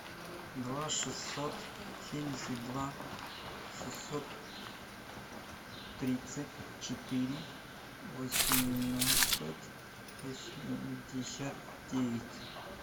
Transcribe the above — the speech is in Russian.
два шестьсот семьдесят два шестьсот тридцать четыре восемнадцать восемьдесят девять